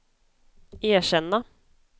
erkänna